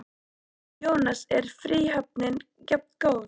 Jónas: Er fríhöfnin jafngóð?